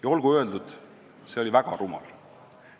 Ja olgu öeldud, et see oli väga rumal.